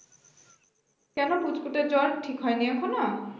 কেন পুঁচকুটার জ্বর ঠিক হয় নি এখন